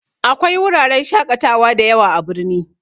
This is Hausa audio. Akwai wuraren shaƙatawa da yawa a birni